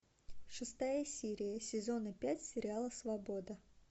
шестая серия сезона пять сериала свобода